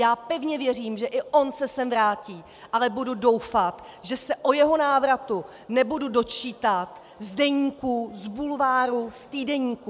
Já pevně věřím, že i on se sem vrátí, ale budou doufat, že se o jeho návratu nebudu dočítat z deníků, z bulváru, z týdeníků.